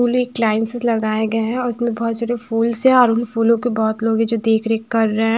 फूल एक लाइन से लगाए गए है और उसमें बहोत सारे फूल्स है और उन फूलों की बहोत लोग है जो देख रेख कर रहे--